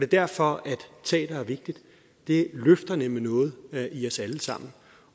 derfor at teater er vigtigt det løfter nemlig noget i os alle sammen